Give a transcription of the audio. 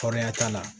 Fɔrɔya t'a la